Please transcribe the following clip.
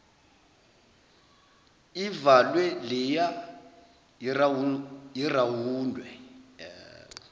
ivalwe leya irawundwe